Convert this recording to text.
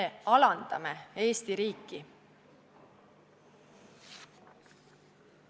Me alandame Eesti riiki.